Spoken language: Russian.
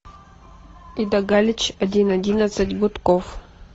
ида галич один одиннадцать гудков